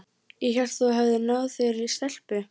Ég hélt að þú hefðir náð þér í stelpu.